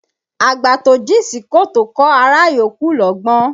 Àgbà tó jìn sí kòtò kọ́ ará yòókù lọ́gbọ́n